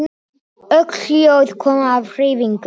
Öll hljóð koma af hreyfingu